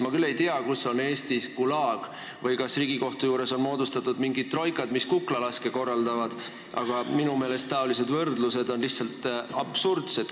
Ma küll ei tea, kus on Eestis Gulag või kas Riigikohtu juures on moodustatud mingid troikad, mis kuklalaske korraldavad, aga minu meelest on sellised võrdlused lihtsalt absurdsed.